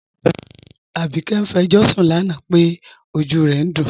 Abike n fẹ̀jọṣun lánà pé ọjú rẹ̀ n dún